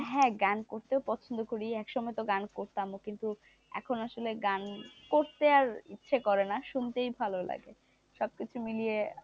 হ্যাঁ, গান করতেও পছন্দ করে এক সময় তো গান করতামও কিন্তু এখন আসলে গান করতে আর ইচ্ছে করেনা শুনতে ভালো লাগে সবকিছু মিলিয়ে,